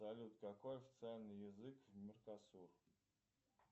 салют какой официальный язык в меркосур